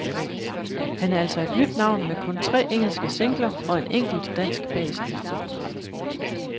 Han er altså et nyt navn med kun tre engelske singler og en enkelt dansk bag sig.